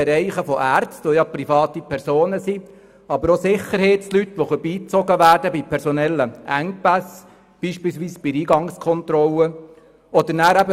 Beispielsweise handelt es sich um Ärzte, die ja private Personen sind, aber auch um Sicherheitsleute, die bei personellen Engpässen beispielsweise in der Eingangskontrolle beigezogen werden können.